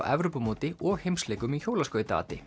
Evrópumóti og heimsleikum í